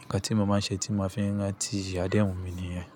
Nǹkan tí mo máa ń ṣe tí mo fi ń rántí adéhùn mi nìyẹn.